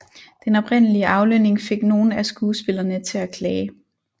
Den oprindelige aflønning fik nogle af skuespillerne til at klage